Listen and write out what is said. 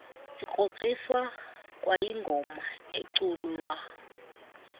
sikrokriswa kwayingoma eculwa